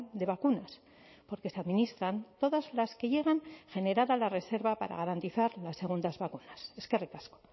de vacunas porque se administran todas las que llegan generada la reserva para garantizar las segundas vacunas eskerrik asko